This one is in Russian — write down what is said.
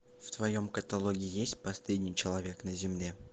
в твоем каталоге есть последний человек на земле